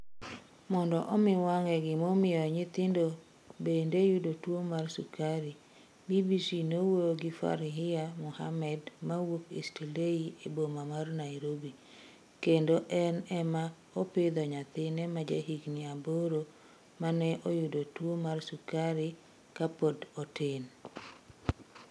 Mondo omi wang'e gimomiyo nyithindo bende yudo tuo mar sukari, BBC nowuoyo gi Farhia Mohammed mawuok Eastleigh e boma mar Nairobi, kendo en ema opidho nyathine ma jahigini aboro ma ne oyudo tuwo mar sukari kapod otin.